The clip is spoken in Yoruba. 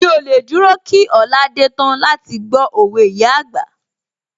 Mí ò lè dúró kí ọ̀la dé tán láti gbó òwe ìyá àgbà